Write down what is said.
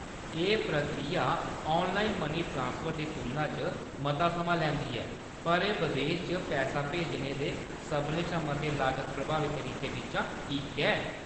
एह्‌‌ प्रक्रिया online money transfer दी तुलना च मता समां लैंदी ऐ, पर एह्‌‌ बदेस च पैहा भेजने दे सभनें शा मते लागत प्रभावी तरीकें बिच्चा इक ऐ।